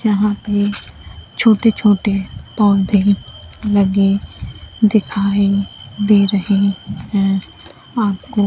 जहां पे छोटे-छोटे पौधे लगे दिखाई दे रहे हैं आपको।